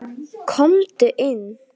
Komdu inn